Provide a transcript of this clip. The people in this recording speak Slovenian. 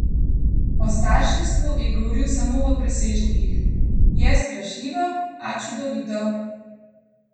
O starševstvu je govoril samo v presežnikih: "Je strašljivo, a čudovito.